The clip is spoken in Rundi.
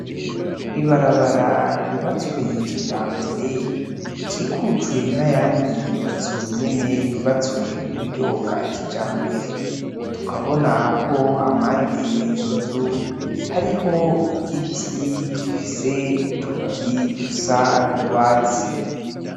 Ibarabara ry'ubutswe kijambere rikikujwe nayandi manzu nayo nyene yubatswe muburyo bwakijambere tukabona ko hampande yizo nzu hariho igiti gifise utubabi dusa nurwatsi.